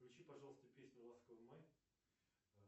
включи пожалуйста песню ласковый май